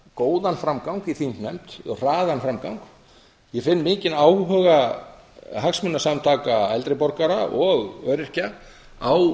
góðan framgang í þingnefnd hraðan framgang ég finn mikinn áhuga hagsmunasamtaka eldri borgara og öryrkja á